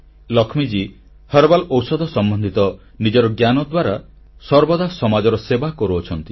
Lakshmiji herbal ଔଷଧ ସମ୍ବନ୍ଧିତ ନିଜର ଜ୍ଞାନ ଦ୍ୱାରା ସର୍ବଦା ସମାଜର ସେବା କରୁଛନ୍ତି